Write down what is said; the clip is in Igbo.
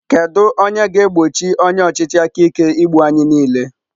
Kedu onye ga-egbochi onye ọchịchị aka ike igbu anyị niile?